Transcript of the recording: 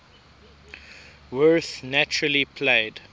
werth naturally played